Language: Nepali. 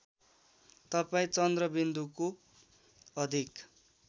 तपाईँ चन्द्रबिन्दुको अधिक